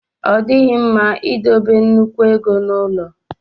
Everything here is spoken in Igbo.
Ọ dịghị mma idebe nnukwu ego n'ụlọ.